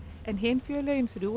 en hin félögin